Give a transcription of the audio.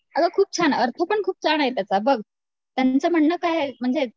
अगं खूप छान आहे अर्थ पण खूप छान आहे त्याचा बघ त्यांचं म्हणणं काय आहे म्हणजे